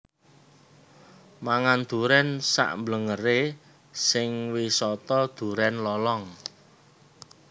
Mangan duren sak mblengere sing Wisata Duren Lolong